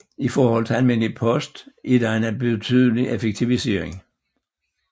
I forhold til almindelig post er det en betydelig effektivisering